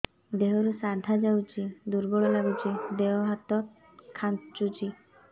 ଦେହରୁ ସାଧା ଯାଉଚି ଦୁର୍ବଳ ଲାଗୁଚି ଦେହ ହାତ ଖାନ୍ଚୁଚି